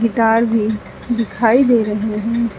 Guitar भी दिखाई दे रहे हैं।